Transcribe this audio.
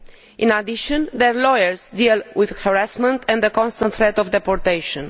In addition, their lawyers are dealing with harassment and the constant threat of deportation.